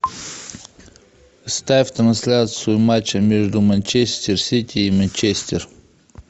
ставь трансляцию матча между манчестер сити и манчестер